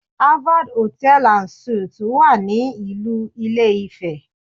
Harvard Hotel and suite wà ní ìlú ilé-ifẹ̀